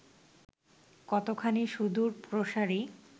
কতখানি সুদূরপ্রসারী